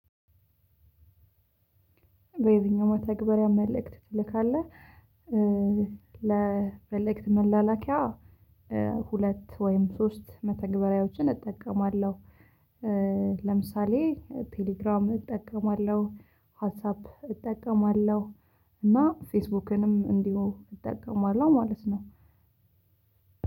በየትኛው መተግበሪያ መልእክት ትልካለህ? ለመልእክት መላላኪያ ሁለት ወይም ሶስት መተግበሪያዎችን እጠቀማለሁ። ለምሳሌ ቴሌግራም እጠቀማለሁ። ዋትሳፕ እጠቀማለሁ። እና ፌስቡክንም እንዲሁ እጠቀማለሁ ማለት ነው።